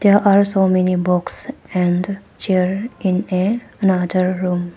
There are so many box and chair in a another room.